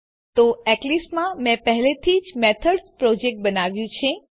તો એક્લીપ્સમાં મેં પહેલાથી જ મેથડ્સ પ્રોજેક્ટ બનાવ્યું છે